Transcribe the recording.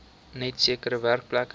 net sekere werkplekke